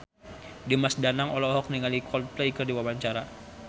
Dimas Danang olohok ningali Coldplay keur diwawancara